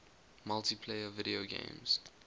multiplayer video games